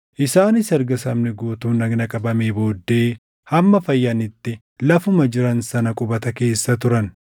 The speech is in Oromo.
Isaanis erga sabni guutuun dhagna qabamee booddee hamma fayyanitti lafuma jiran sana qubata keessa turan.